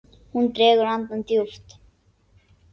Hún dregur andann djúpt.